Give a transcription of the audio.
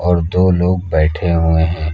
और दो लोग बैठे हुए हैं।